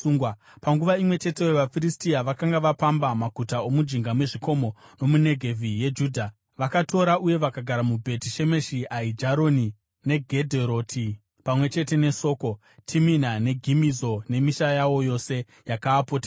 Panguva imwe cheteyo vaFiristia vakanga vapamba maguta omujinga mezvikomo nomuNegevhi yeJudha. Vakatora uye vakagara muBheti Shemeshi, Aijaroni neGedheroti pamwe chete neSoko, Timina neGimizo nemisha yawo yose yakaapoteredza.